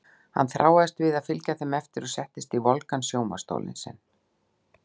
Hann þráaðist við að fylgja þeim eftir og settist í volgan sjónvarps- stólinn sinn.